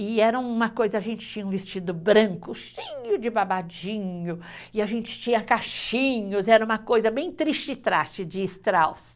E era uma coisa, a gente tinha um vestido branco, cheio de babadinho, e a gente tinha cachinhos, era uma coisa bem de Strauss.